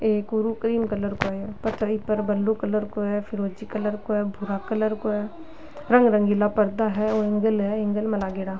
एक रु cream colour को है ये पर ब्लू कलर को है फिरोजी कलर को है भूरा कलर को है रंग रंगीला पर्दा है और ऐंगल है ऐंगल में लागेड़ा।